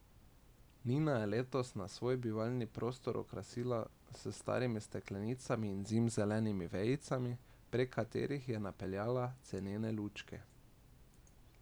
Nina je letos svoj bivalni prostor okrasila s starimi steklenicami in zimzelenimi vejicami, prek katerih je napeljala cenene lučke.